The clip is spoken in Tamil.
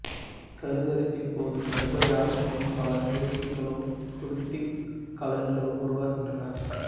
கருத்தரிப்பின் போது கருப்பையகத்தில் பல சுரப்பிகளும் குருதிக் கலன்களும் உருவாகின்றன